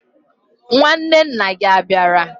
Nwanne na gia abiara?